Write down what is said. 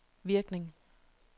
virkning